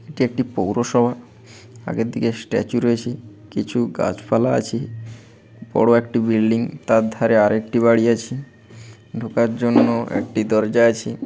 এটি একটি পৌরসভা আগের দিকে স্ট্যাচু রয়েছে কিছু গাছপালা আছে বড়ো একটি বিল্ডিং তার ধারে আরেকটি বাড়ি আছে ঢোকার জন্য একটি দরজা আছে।